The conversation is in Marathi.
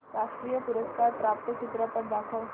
राष्ट्रीय पुरस्कार प्राप्त चित्रपट दाखव